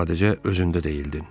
Sadəcə özündə deyildin.